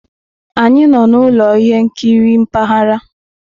Anyị nọ na ụlọ ihe nkiri mpaghara.